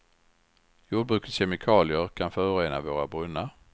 Jordbrukets kemikalier kan förorena våra brunnar.